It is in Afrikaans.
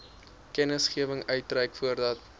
kennisgewing uitreik voordat